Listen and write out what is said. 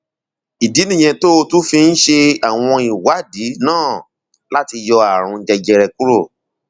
ìdí nìyẹn tó o tún fi ń ṣe àwọn ìwádìí náà láti yọ ààrùn jẹjẹrẹ kúrò